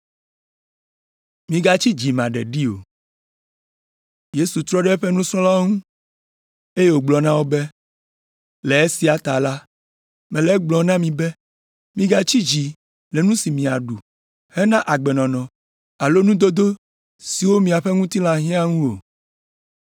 Yesu trɔ ɖe eƒe nusrɔ̃lawo ŋu, eye wògblɔ na wo be, “Le esia ta la, mele egblɔm na mi be, migatsi dzi le nu si miaɖu hena agbenɔnɔ alo nudodo siwo miaƒe ŋutilã hiã ŋu o,